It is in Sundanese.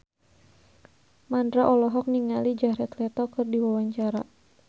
Mandra olohok ningali Jared Leto keur diwawancara